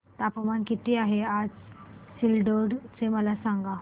तापमान किती आहे आज सिल्लोड चे मला सांगा